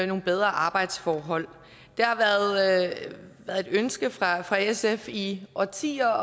nogle bedre arbejdsforhold det har været et ønske fra fra sf i årtier